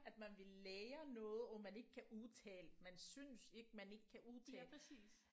At man vil lære noget og man ikke kan udtale man synes ikke man ikke kan udtale